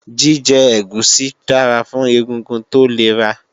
Jíjẹ ẹ̀gúsí dára fún egungun tó lera